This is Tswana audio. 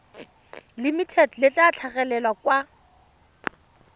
limited le tla tlhagelela kwa